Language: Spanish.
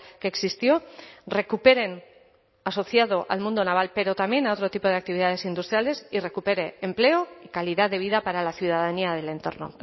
que existió recuperen asociado al mundo naval pero también a otro tipo de actividades industriales y recupere empleo y calidad de vida para la ciudadanía del entorno